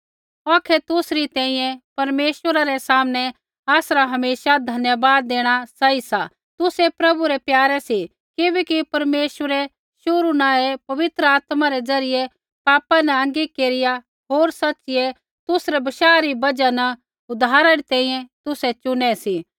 औखै तुसरी तैंईंयैं परमेश्वरा रै सामनै आसरा हमेशा धन्यवाद देणा सही सा तुसै प्रभु रै प्यारे सी किबैकि परमेश्वरै शुरु न ही पवित्र आत्मा रै ज़रियै पापा न आँगी केरिया होर सच़िऐ तुसरै बशाह री बजहा न उद्धारा री तैंईंयैं तुसै चुनै सी